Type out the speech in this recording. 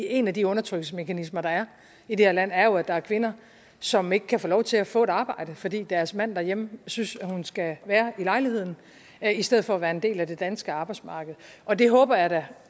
en af de undertrykkelsesmekanismer der er i det her land er jo at der er kvinder som ikke kan få lov til at få et arbejde fordi deres mand derhjemme synes at hun skal være i lejligheden i stedet for at være en del af det danske arbejdsmarked og det håber jeg da